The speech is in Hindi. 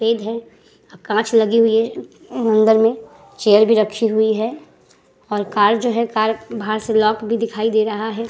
फेद है। कांच लगी हुई है। अंदर में चेयर भी रखी हुई है और कार जो है कार बाहर से लॉक भी दिखाई दे रहा है।